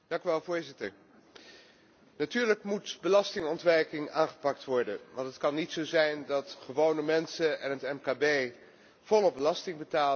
Natuurlijk moet belastingontwijking aangepakt worden, want het kan niet zo zijn dat gewone mensen en het mkb volop belasting betalen en dat multinationals dat niet doen.